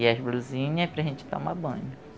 E as blusinha para a gente tomar banho.